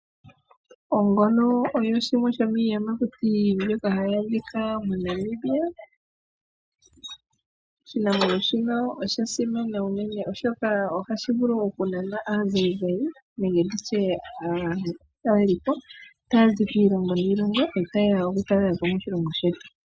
Ongolo oyo yimwe yomiiyamakuti mbyoka hayi adhika moNamibia, oshinamwenyo shino osha simana unene, oshoka ohashi vulu okunana aazayizayi nenge aatalelipo taya zi kiilongo niilongo taye ya okutalela po moshilongo shetu.